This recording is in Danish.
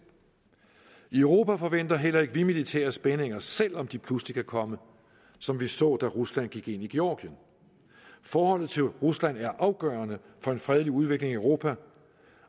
i europa forventer heller ikke vi militære spændinger selv om de pludselig kan komme som vi så da rusland gik ind i georgien forholdet til rusland er afgørende for en fredelig udvikling i europa